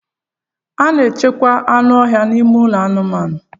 A na-echekwa anụ ọhịa n'ime ụlọ anụmanụ.